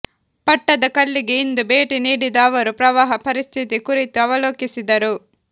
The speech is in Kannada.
ಪಟ್ಟದ ಕಲ್ಲಿಗೆ ಇಂದು ಭೇಟಿ ನೀಡಿದ ಅವರು ಪ್ರವಾಹ ಪರಿಸ್ಥಿತಿ ಕುರಿತು ಅವಲೋಕಿಸಿದರು